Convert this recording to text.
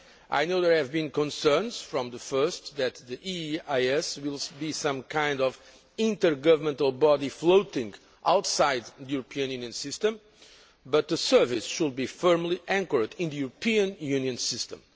I know there have been concerns from the outset that the EAS will be some kind of intergovernmental body floating outside the European Union system, but the service should be firmly anchored in the European Union system.